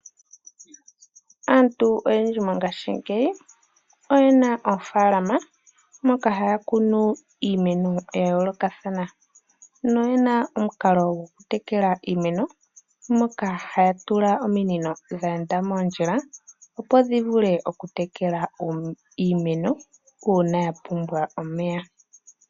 Aantu oyendji mongaashingeyi oye na oofaalama moka haya kunu iimeno ya yoolokathana noye na omukalo gokutekela iimeno, moka haya tula ominino dheenda moondjila opo dhi vule okutekela iimeno uuna ya pumbwa omeya.